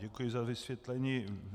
Děkuji za vysvětlení.